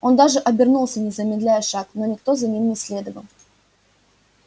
он даже обернулся не замедляя шаг но никто за ним не следовал